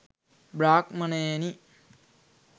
බ්‍රාහ්මණයෙනි,